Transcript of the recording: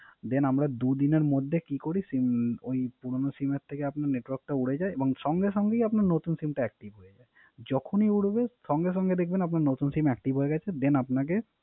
Then আমরা দুদিনে মধ্যে কি করি SIM ওই পুরানো SIM এর থেকে উরে যায় এবং সংগে সংগে আপনার নতুন SIM active যখন ই উরে সংগে সংগে দেখবেন SIM active গেছে Then আপনাকে